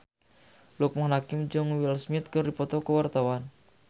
Loekman Hakim jeung Will Smith keur dipoto ku wartawan